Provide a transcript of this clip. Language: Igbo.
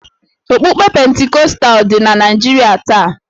Okpukpe Pentikọstal dị na Naịjirịa taa